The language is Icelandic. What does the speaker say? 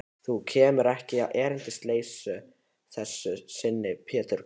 Þú kemur ekki erindisleysu að þessu sinni, Pétur karl.